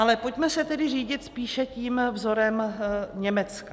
Ale pojďme se tedy řídit spíše tím vzorem Německa.